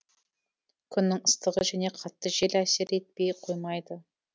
күннің ыстығы және қатты жел әсер етпей қоймайды